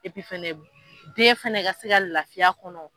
fana den fana ka se ka lafiya a kɔnɔ.